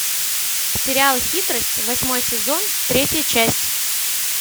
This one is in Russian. сериал хитрость восьмой сезон третья часть